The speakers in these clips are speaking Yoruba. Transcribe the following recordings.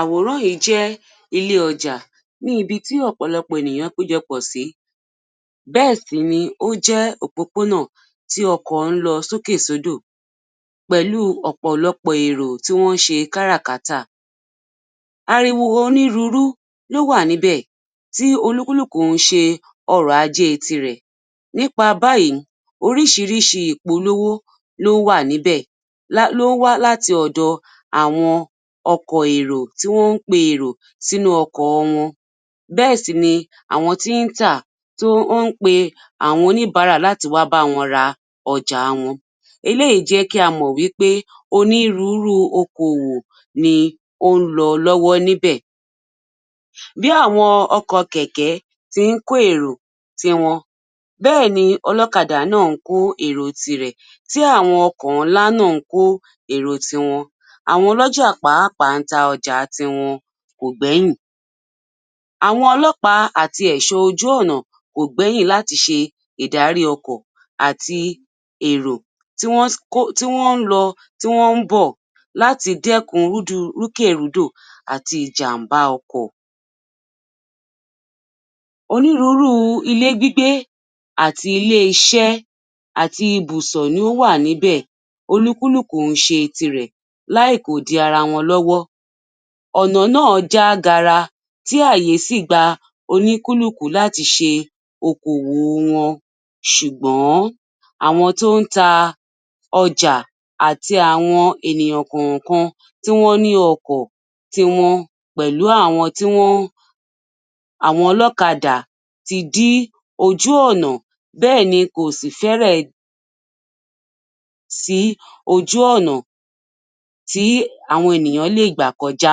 Àwòrán yìí jẹ́ ilé ọjà níbi tí ọ̀pọ̀lọpọ̀ ènìyàn péjọ pọ̀ sìí bẹ́ẹ̀ sì ni ó jẹ́ òpópónà tí ọkọ̀ ń lọ sókè sódò pẹ̀lú ọ̀pọ̀lọpọ̀ èrò tí wọ́n ń ṣe káràkátà ariwo onírúurú ló wà níbẹ̀ tí olúkúlùkù ń ṣe ọ̀rọ̀ ajẹ́ tirẹ̀ nípa báyìí oríṣiríṣi ìpolówó ló wà níbẹ̀ ló ń wá láti ọ̀dọ àwọn ọkọ̀ èrò tí wọ́n ń pe èrò sínú ọkọ̀ wọn bẹ́ẹ̀ sìni àwọn tí ń tà tó ń pe àwọn oníbàárà láti wá báwọn ra ọjà wọn eléyìí jẹ́ kí a mọ wí pé onírúurú okówó ni ó ń lọ lọ́wọ́ níbẹ̀ bí àwọn ọkọ̀ kẹ̀kẹ́ tí ń kó èrò tí wọn bẹ́ẹ̀ni ni ọlọ́kadà náà ń kó èrò tirẹ̀ tí àwọn ọkọ̀ ńlá náà ń kó èrò tiwọn àwọn olójà pàápàá ń ta ọjà tiwọn kò gbẹ́yìn àwọn ọlọ́pàá àti ẹ̀ṣọ́ ojú-ọ̀nà kò gbẹ́yìn láti ṣe ìdárí ọkọ̀ àti èrò tí wọ́n ń lọ tí wọn ń bọ̀ láti dẹ́kun rùkẹ̀rodò àti ìjàmbá ọkọ̀ onírúurú ilé gbígbé àti ilé-iṣẹ́ àti ibùsọ̀ ni ó wà níbẹ̀ olúkúlùkù ń ṣe tirẹ̀ láì kò dí ara wọn lọ́wọ́ ọ̀nà náà já gara tí àyè sì gba olúkúlùkù láti ṣe okòwò wọn ṣùgbọ́n àwọn tí ó ń ta ọjà àti àwọn ènìyàn kàn-kan tí wọ́n ní ọkọ̀ tiwọn pẹ̀lú àwọn ọlọ́kadà tí di ojú-ọ̀nà bẹ́ẹ̀ni kò sì fẹ́rẹ̀ sí ojú-ọ̀nà tí àwọn ènìyàn lé gbà kọjá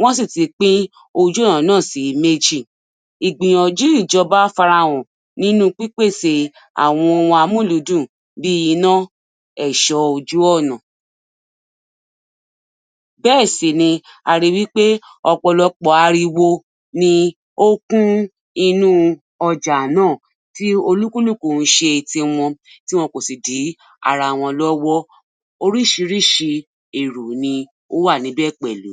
wọ́n sì ti pín ojú-ọ̀nà náà sí méjì ìgbìyànjú ìjọ́ba fara hàn nínú pípèsè àwọn ohun amúlùúdùn bí iná èṣọ́ ojú-ọ̀nà bẹ́ẹ̀ sì ni arin wí pé ọ̀pọ̀lọpọ̀ ariwo ni ó kún inú ọjà náà tí olúkúlùkù ń ṣe tiwọn tí kò sì dí ara wọn lọ́wọ́ oríṣiríṣi èrò ni owà níbẹ̀ pẹ̀lú